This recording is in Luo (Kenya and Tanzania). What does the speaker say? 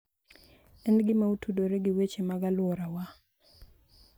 En gima otudore gi weche mag alworawa,